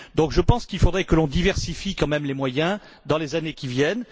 Donc, je pense qu'il faudrait que l'on diversifie quand même les moyens dans les années à venir.